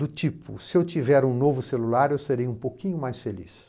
Do tipo, se eu tiver um novo celular, eu serei um pouquinho mais feliz.